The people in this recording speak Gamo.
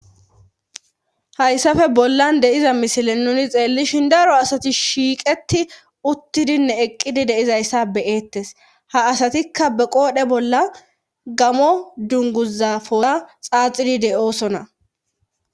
Hayssafe bollan deiza misile nuni xeellishin daro asati shiiqeti uttidinne eqqidi deizayssa beyeettes ha asatikka be qoodhe bolla gamo dunguzafoza xaaxidi de7oosona